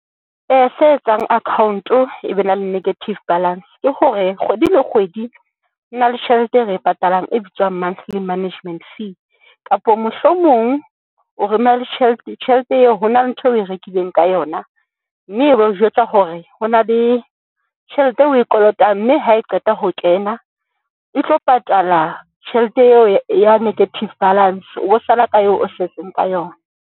Se etsang akhaonto e be na le negative balance ke hore kgwedi le kgwedi ho na le tjhelete e re e patalang e bitswang monthly management fee, kapa mohlomong o tjhelete eo ho na le ntho eo o e rekileng ka yona, mme e be o jwetsa hore ho na le tjhelete eo o e kolotang mme ha e qeta ho kena, e tlo patala tjhelete eo ya negative balance. O be o sala ka eo o setseng ka yona.